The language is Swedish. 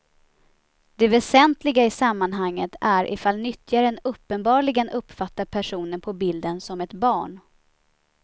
Det väsentliga i sammanhanget är ifall nyttjaren uppenbarligen uppfattar personen på bilden som ett barn.